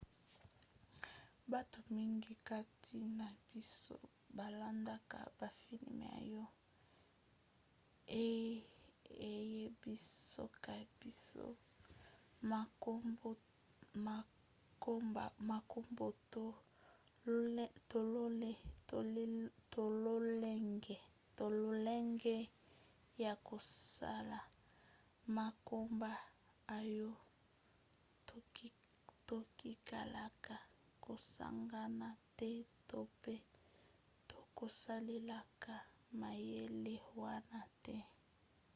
bato mingi kati na biso balandaka bafilme oyo eyebisaka biso makambo to lolenge ya kosala makambo oyo tokotikalaka kosagana te to pe tokosalelaka mayele wana te